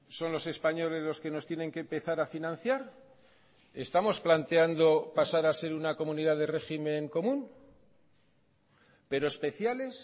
son los españoles los que nos tienen que empezar a financiar estamos planteando pasar a ser una comunidad de régimen común pero especiales